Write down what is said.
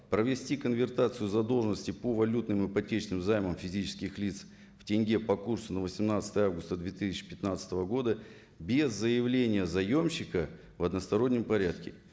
провести конвертацию задолжности по валютным инпотечным займам физических лиц в тенге по курсу на восемнадцатое августа две тысяча пятнадцатого года без заявления заемщика в одностороннем порядке